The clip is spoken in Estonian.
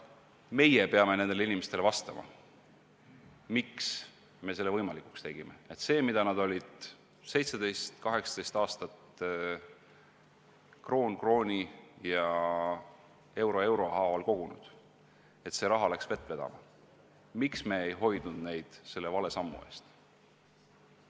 Meie peame nendele inimestele vastama, miks me selle võimalikuks tegime, et see raha, mida nad olid 17–18 aastat kroon krooni ja euro euro haaval kogunud, läks vett vedama, miks me ei hoidnud neid selle vale sammu eest.